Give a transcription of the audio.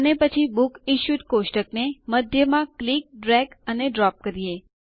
અને પછી બુકસિશ્યુડ ટેબલ ને મધ્યમાં ક્લિકડ્રેગ અને ડ્રોપ કરીએ